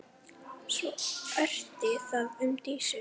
Svo orti það um Dísu.